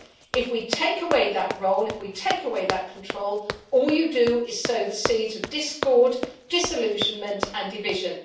If we take away that role, if we take away that control, all you do is sow the seeds of discord, disillusionment and division.